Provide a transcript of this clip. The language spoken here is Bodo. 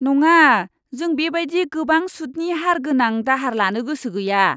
नङा! जों बेबायदि गोबां सुदनि हार गोनां दाहार लानो गोसो गैया।